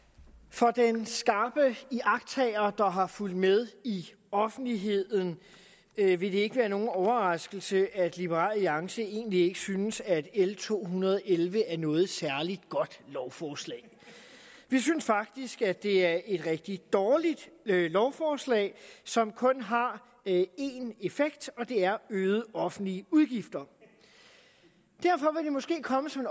for den skarpe iagttager der har fulgt med i offentligheden vil det ikke være nogen overraskelse at liberal alliance egentlig ikke synes at l to hundrede og elleve er noget særlig godt lovforslag vi synes faktisk at det er et rigtig dårligt lovforslag som kun har en effekt og det er øgede offentlige udgifter derfor vil det måske komme som